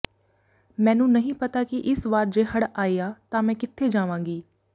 ਮੈਨੂੰ ਨਹੀਂ ਪਤਾ ਕਿ ਇਸ ਵਾਰ ਜੇ ਹੜ ਆਇਆ ਤਾਂ ਮੈਂ ਕਿੱਥੇ ਜਾਵਾਂਗੀ